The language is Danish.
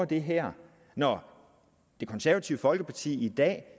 det her når det konservative folkeparti i dag